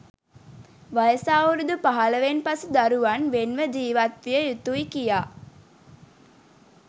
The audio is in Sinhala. වයස අවුරුදු පහළොවෙන් පසු දරුවන් වෙන් ව ජීවත්විය යුතුයි කියා.